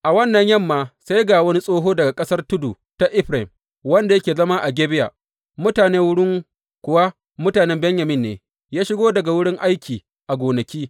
A wannan yamma sai ga wani tsoho daga ƙasar tudu ta Efraim, wanda yake zama a Gibeya mutane wurin kuwa mutanen Benyamin ne, ya shigo daga wurin aiki a gonaki.